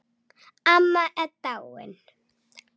Amma er dáin.